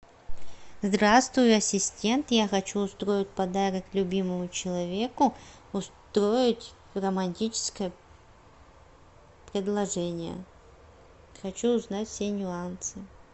здравствуй ассистент я хочу устроить подарок любимому человеку устроить романтическое предложение хочу узнать все нюансы